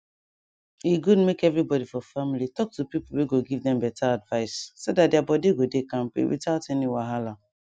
e good make everybody for family talk to people wey go give them better advice so that their body go dey kampe without any wahala